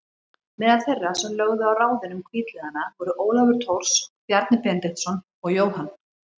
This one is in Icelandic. Meðal þeirra sem lögðu á ráðin um hvítliðana voru Ólafur Thors, Bjarni Benediktsson og Jóhann